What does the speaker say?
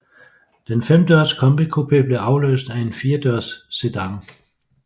Den femdørs combi coupé blev afløst af en firedørs sedan